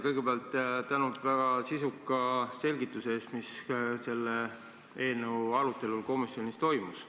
Kõigepealt tänan väga sisuka selgituse eest, mis selle eelnõu arutelul komisjonis toimus.